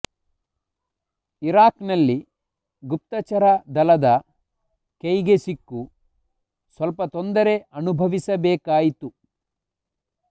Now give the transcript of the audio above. Iraq ನಲ್ಲಿ ಗುಪ್ತಚರ ದಳದ ಕೈಗೆ ಸಿಕ್ಕು ಸ್ವಲ್ಪ ತೊಂದರೆ ಅನುಭವಿಸಬೇಕಾಯಿತು